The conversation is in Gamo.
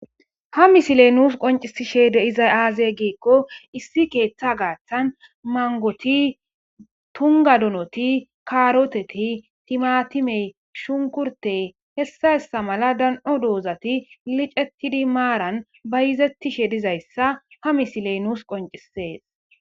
Ha mislee nus qonccissiishshede de7iza aazee giikko issi keeththaa garssan manggoti ,tungga donoti,kaaroothethi,timaathimee,shunkurththee,hessa hessa mala dan7o doozathi miceththide maaran bayzeththiisheedizayssa ha mislee nus qonccisses.